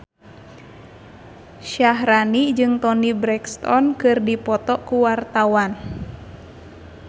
Syaharani jeung Toni Brexton keur dipoto ku wartawan